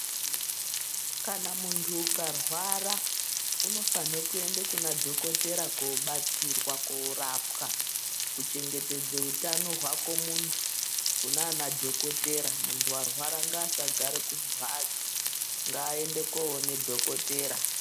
Kana muntu uka rwara unofanhe kuenda kuna dhokotera ko batsirwa korapwa ku chengetedze hutano hwako muntu kunana dhokotera muntu arwara ngaa asagare ku mbatso nga ende koone dhokotera.